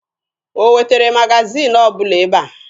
O wetere magaziini ọbụla ebe a?